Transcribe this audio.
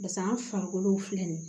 Basa an farikolo filɛ nin ye